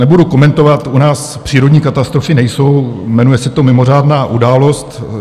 Nebudu komentovat, u nás přírodní katastrofy nejsou, jmenuje se to mimořádná událost.